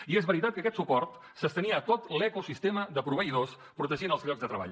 i és veritat que aquest suport s’estenia a tot l’ecosistema de proveïdors protegint els llocs de treball